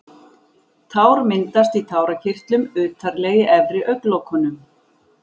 Tár myndast í tárakirtlum utarlega í efri augnlokunum.